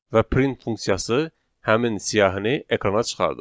Və print funksiyası həmin siyahini ekrana çıxarır.